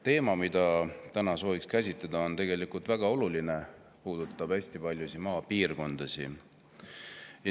Teema, mida täna soovime käsitleda, on väga oluline, kuna see puudutab hästi paljusid maapiirkondasid.